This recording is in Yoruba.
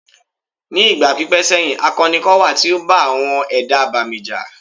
Ní ìgbà pípẹ́ sẹ́yìn, akọni kan wà tí ó bá àwọn ẹ̀dá abàmì jà.